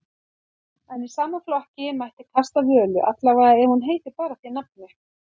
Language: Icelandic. En í sama flokki mætti kasta Völu, allavega ef hún heitir bara því nafni.